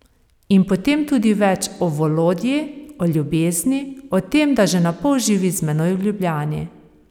In potem tudi več o Volodji, o ljubezni, o tem, da že napol živi z menoj v Ljubljani.